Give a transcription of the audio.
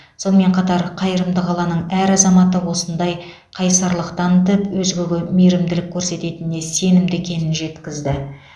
сонымен қатар қайырымды қаланың әр азаматы осындай қайсарлық танытып өзгеге мейірімділік көрсететініне сенімді екенін жеткізді